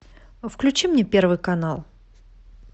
включи мне первый канал